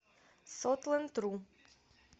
сотландру